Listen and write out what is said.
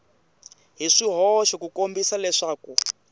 hi swihoxo ku kombisa leswaku